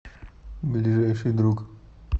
ближайший друг